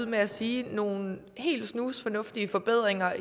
med at sige nogle helt snusfornuftige forbedringer